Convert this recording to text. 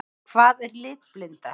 Hvað er litblinda?